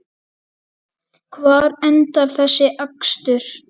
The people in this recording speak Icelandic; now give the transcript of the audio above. Hvar endar þessi akstur?